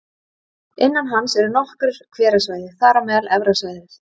Innan hans eru nokkur hverasvæði, þar á meðal Efra svæðið